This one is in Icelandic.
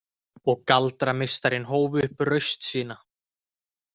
Og galdrameistarinn hóf upp raust sína.